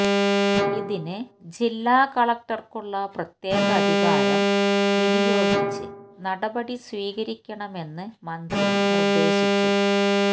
ഇതിന് ജില്ലാ കളക്ടര്ക്കുള്ള പ്രത്യേക അധികാരം വിനിയോഗിച്ച് നടപടി സ്വീകരിക്കണമെന്ന് മന്ത്രി നിര്ദേശിച്ചു